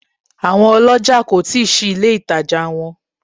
Àwọn olójà kò tí ì ṣí ilé ìtajà wọn